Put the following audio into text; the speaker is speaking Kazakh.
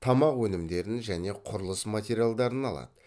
тамақ өнімдерін және құрылыс материалдарын алады